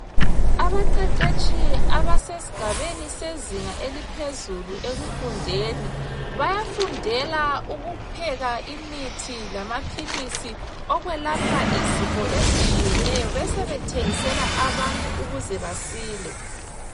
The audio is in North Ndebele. Abaqeqetshi abasesigabeni sezinga eliphezulu ekufundeni bayafundela ukupheka imithi lamaphilisi okwelapha izifo ezitshiyeneyo besebethengisela abantu ukuze basile.